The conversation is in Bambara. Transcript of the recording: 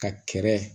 Ka kɛrɛ